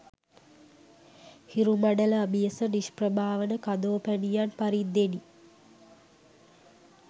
හිරුමඬල අභියස නිෂ්ප්‍රභා වන කදෝපැණියන් පරිද්දෙනි